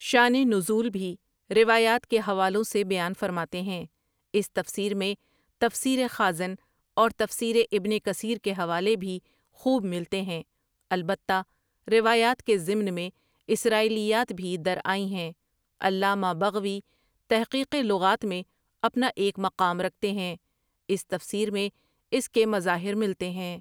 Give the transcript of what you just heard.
شانِ نزول بھی روایات کے حوالوں سے بیان فرماتے ہیں، اس تفسیر میں تفسیرِ خازن اور تفسیرِ ابن کثیر کے حوالے بھی خوب ملتے ہیں البتہ روایات کے ضمن میں اسرائیلیات بھی درآئی ہیں، علامہ بغویؒ تحقیقِ لغات میں اپنا ایک مقام رکھتے ہیں، اس تفسیر میں اس کے مظاہر ملتے ہیں ۔